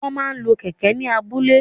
Wọ́n máa ń lo kẹ̀kẹ́ ní abúlé.